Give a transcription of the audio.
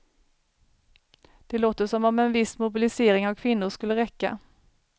Det låter som om en viss mobilisering av kvinnor skulle räcka.